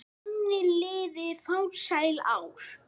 Þannig liðu farsæl ár.